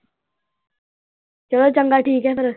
ਚਲੋ ਚੰਗਾ ਠੀਕ ਹੈ ਫੇਰ।